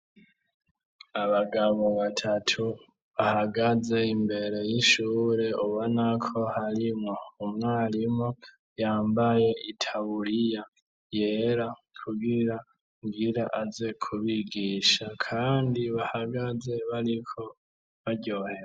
Abagabo batatu bahagaze imbere y'ishure ubona ko harimwo umwarimu yambaye itaburiya yera ,kugira aze kubigisha kandi bahagaze bariko ,baryohewe.